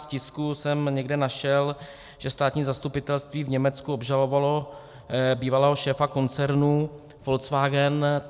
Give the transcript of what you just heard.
V tisku jsem někde našel, že státní zastupitelství v Německu obžalovalo bývalého šéfa koncernu Volkswagen.